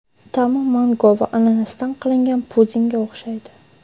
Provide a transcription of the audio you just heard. Ta’mi mango va ananasdan qilingan pudingga o‘xshaydi.